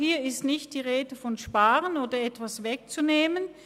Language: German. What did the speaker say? Hier ist also nicht die Rede davon, zu sparen oder jemandem etwas wegzunehmen.